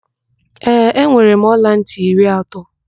Ee, enwere m ọlantị iri atọ.